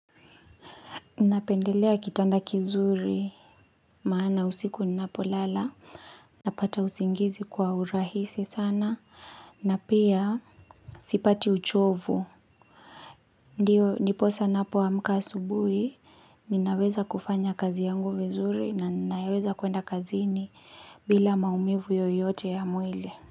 Napendelea kitanda kizuri, maana usiku ninapolala, napata usingizi kwa urahisi sana, na pia sipati uchovu. Ndiyo, ndiposa napo amka asubuhi, ninaweza kufanya kazi yangu vizuri, na ninaweza kuenda kazini bila maumivu yoyote ya mwili.